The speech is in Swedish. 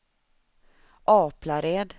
Aplared